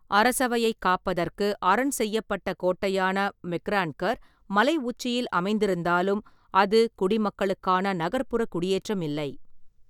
அரசவையைக் காப்பதற்கு அரண் செய்யப்பட்ட கோட்டையான மெக்ரான்கர், மலை உச்சியில் அமைந்திருந்தாலும் அது குடிமக்களுக்கான நகர்ப்புற குடியேற்றமில்லை.